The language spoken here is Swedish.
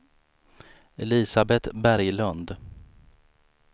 Elisabet Berglund